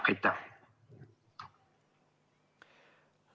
Aitäh!